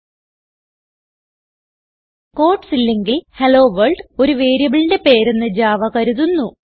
quotes ഇല്ലെങ്കിൽHelloWorld ഒരു വേരിയബിളിന്റെ പേരെന്ന് ജാവ കരുതുന്നു